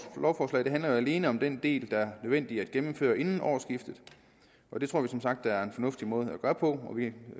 lovforslag handler alene om den del der er nødvendig at gennemføre inden årsskiftet vi tror som sagt det er en fornuftig måde at gøre på og vi